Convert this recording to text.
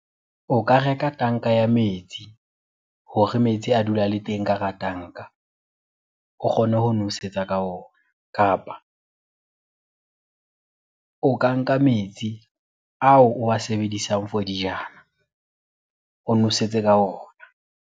O ka reka tanka ya metsi hore metsi a dula a le teng ka hara tanka, o kgone ho nosetsa ka ona. Kapa o ka nka metsi ao o wa sebedisang for dijana o nosetse ka ona.